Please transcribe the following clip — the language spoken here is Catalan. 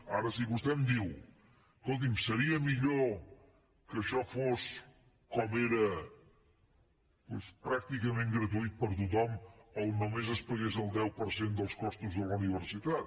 ara si vostè em diu escolti’m seria millor que això fos com era doncs pràcticament gratuït per a tothom on només es pagués el deu per cent dels costos de la universitat